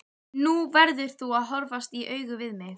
Nú verður þú að horfast í augu við mig.